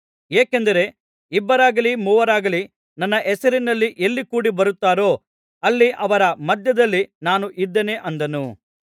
ಏಕೆಂದರೆ ಇಬ್ಬರಾಗಲೀ ಮೂವರಾಗಲೀ ನನ್ನ ಹೆಸರಿನಲ್ಲಿ ಎಲ್ಲಿ ಕೂಡಿ ಬರುತ್ತಾರೋ ಅಲ್ಲಿ ಅವರ ಮಧ್ಯದಲ್ಲಿ ನಾನು ಇದ್ದೇನೆ ಅಂದನು